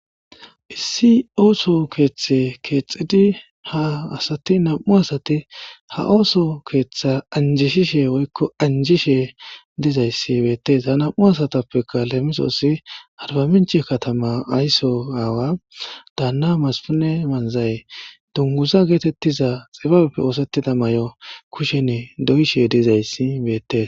issi ooso keeththe keexxidi ha asati nam7u asati ha ooso keeththa anjishishe woykko anjishe dizayssi beettees ha nam7u asatappeka leemisoossi harbaminch katama aysso aawa daanna maspune manzay dunguza geetettiza xibabeppe oosettida may7o kushenne doyishe dizayssi beettes